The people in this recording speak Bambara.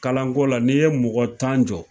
Kalanko la n'i ye mɔgɔ tan jɔ